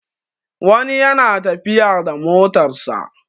wani yana tafiya da motarsa